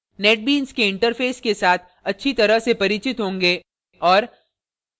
netbeans के interface के साथ अच्छी तरह से परिचित होंगे और